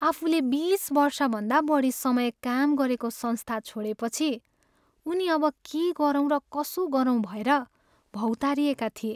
आफूले बिस वर्षभन्दा बढी समय काम गरेको संस्था छोडेपछि, उनी अब के गरौँ र कसो गरौँ भएर भौँतारिएका थिए।